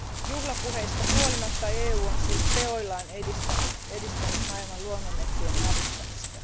Juhlapuheista huolimatta EU on siis teoillaan edistänyt maailman luonnonmetsien hävittämistä.